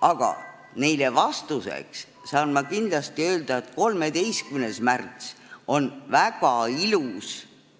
Aga neile vastuseks saan ma öelda, et 13. märtsil on kõikides koolides väga ilus